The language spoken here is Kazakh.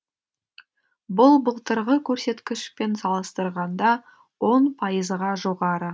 бұл былтырғы көрсеткішпен салыстырғанда он пайызға жоғары